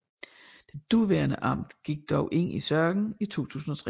Det daværende amt gik dog ind i sagen i 2003